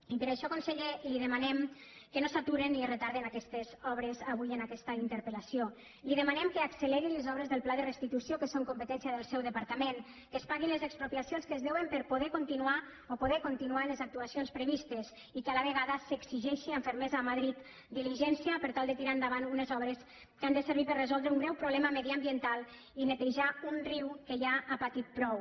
i per això conseller li demanem que no s’aturen ni retarden aquestes obres avui en aquesta interpelli demanem que acceleri les obres del pla de restitució que són competència del seu departament que es paguin les expropiacions que es deuen per a poder continuar les actuacions previstes i que a la vegada s’exigeixi amb fermesa a madrid diligència per tal de tirar endavant unes obres que han de servir per a resoldre un greu problema mediambiental i netejar un riu que ja ha patit prou